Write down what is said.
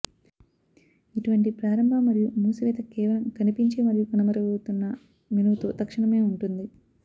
ఇటువంటి ప్రారంభ మరియు మూసివేత కేవలం కనిపించే మరియు కనుమరుగవుతున్న మెనూతో తక్షణమే ఉంటుంది